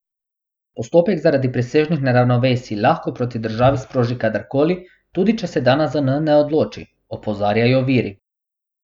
Postopek zaradi presežnih neravnovesij lahko proti državi sproži kadar koli, tudi če se danes zanj ne odloči, opozarjajo viri.